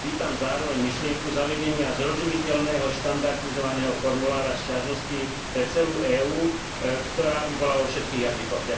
Vítam zároveň myšlienku zavedenia zrozumiteľného štandardizovaného formulára sťažností pre celú EÚ, ktorá by bola vo všetkých jazykoch.